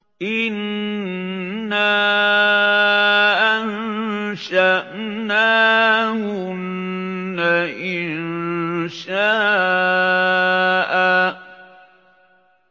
إِنَّا أَنشَأْنَاهُنَّ إِنشَاءً